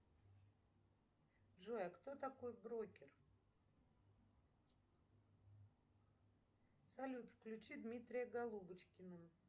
джой а кто такой брокер салют включи дмитрия голубочкина